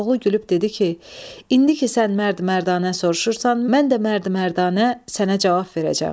Koroğlu gülüb dedi ki, indi ki sən mərd mərdanə soruşursan, mən də mərd mərdanə sənə cavab verəcəm.